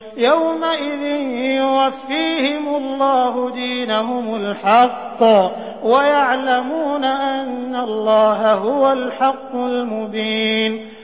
يَوْمَئِذٍ يُوَفِّيهِمُ اللَّهُ دِينَهُمُ الْحَقَّ وَيَعْلَمُونَ أَنَّ اللَّهَ هُوَ الْحَقُّ الْمُبِينُ